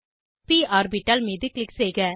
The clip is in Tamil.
ப் ஆர்பிட்டால் மீது க்ளிக் செய்க